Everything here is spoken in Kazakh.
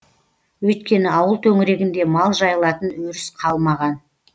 өйткені ауыл төңірегінде мал жайылатын өріс қалмаған